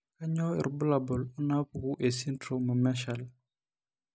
Kainyio irbulabul onaapuku esindirom emarshall?